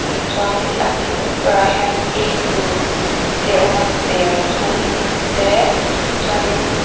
chuanin a chung berah hian apple te a awm a serthlum te chuanin--